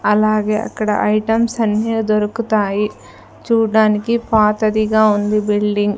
అలాగే అక్కడ ఐటమ్స్ అన్నీ దొరుకుతాయి చూడ్డానికి పాతదిగా ఉంది బిల్డింగ్ .